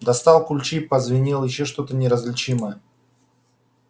достал ключи позвенел ещё что-то неразличимое